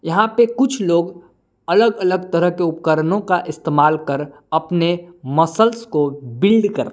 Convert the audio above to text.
यहां पे कुछ लोग अलग अलग तरह के उपकरणों का इस्तेमाल कर अपने मसल्स को बिलड कर--